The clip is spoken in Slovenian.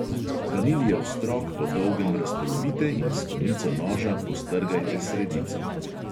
Vaniljev strok po dolgem razpolovite in s konico noža postrgajte sredico.